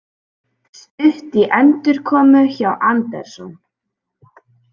Stutt í endurkomu hjá Anderson